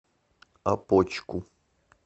опочку